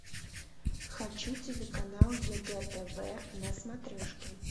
хочу телеканал егэ тв на смотрешке